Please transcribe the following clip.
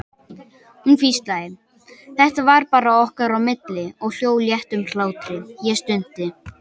Hún hvíslaði, þetta var bara okkar á milli, og hló léttum hlátri, ég stundi.